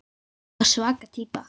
Ég var svaka týpa.